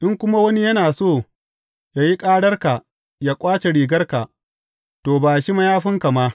In kuma wani yana so yă yi ƙararka yă ƙwace rigarka, to, ba shi mayafinka ma.